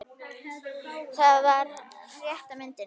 Það var aldrei rétta myndin.